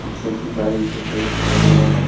इ खेती-बाड़ी की तरह दिखाई दे रहा है।